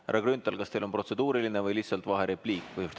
Härra Grünthal, kas teil on protseduuriline küsimus või lihtsalt vaherepliik?